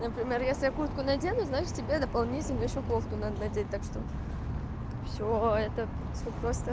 например если я куртку надену значит тебе дополнительно ещё кофту надо надеть так что всё это без вопросов